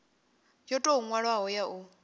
yo tou nwalwaho ya u